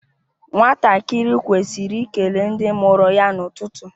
Nwatakịrị kwesịrị ikele ndị mụrụ ya n’ụtụtụ